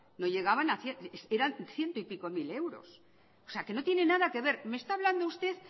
no llegaban eran ciento y pico mil euros no tiene nada que ver me está hablando usted